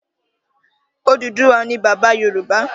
Odùduwà ni bàbá Yorùbá